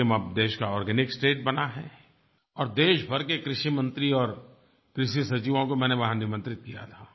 सिक्किम अब देश का आर्गेनिक स्टेट बना है और देश भर के कृषि मंत्रियों और कृषि सचिवों को मैंने वहाँ निमंत्रित किया था